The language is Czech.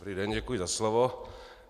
Dobrý den, děkuji za slovo.